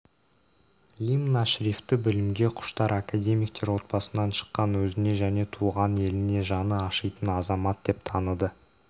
лимн ашрифті білімге құштар академиктер отбасынан шыққан өзіне және туған еліне жаны ашитын азамат деп таныды